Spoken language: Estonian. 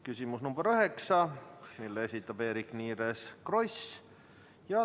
Küsimus nr 8, mille esitab Eerik-Niiles Kross.